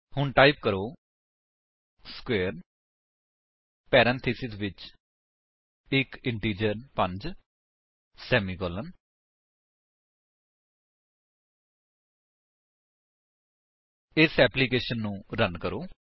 ਹੁਣ ਟਾਈਪ ਕਰੋ square parenthesis ਵਿੱਚ ਇੱਕ ਇੰਟਿਜਰ 5 ਸੇਮੀਕਾਲਨ ਇਸ ਏਪਲਿਕੇਸ਼ਨ ਨੂੰ ਰਨ ਕਰੋ